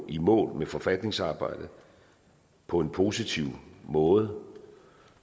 i mål med forfatningsarbejdet på en positiv måde